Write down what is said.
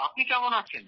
আপনি কেমন আছেন